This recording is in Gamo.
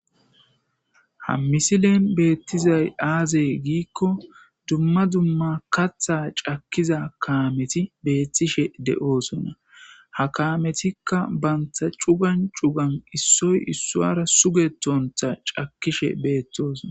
ha misileen beettizay aazey giikko dumma dumma katha cakkiza kaameti beettishe de7oosonna ha kaametikka banta cugan cugan issoy issoara sugetontha cakkishe beettoosona